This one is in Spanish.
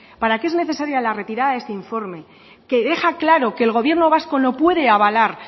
para que es necesaria la retirada de este informe que deja claro que el gobierno vasco no puede avalar